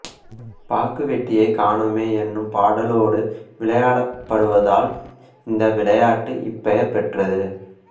பாக்குவெட்டியைக் காணோமே என்னும் பாடலோடு விளையாடப்படுவதால் இந்த விளையாட்டு இப்பெயர் பெற்றது